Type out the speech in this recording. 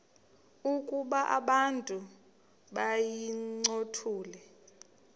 ukuba abantu bayincothule